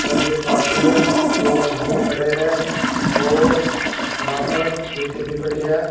Drum के पास में दो मजदूर खड़े हैं और यहां पर ईंटे भी पड़ी हैं।